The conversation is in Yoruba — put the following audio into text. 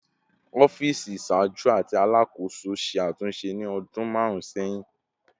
Ọfiisi iṣaaju ti Alakoso ṣe atunṣe ni ọdun marun sẹhin